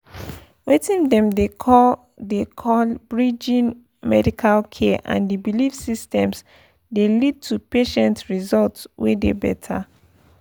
weting dem dey call pause— dey call pause— bridging pause medical care and the belief systems dey lead to patient results wey dey better.